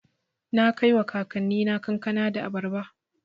Na kaiwa kakannina kankana da abarba.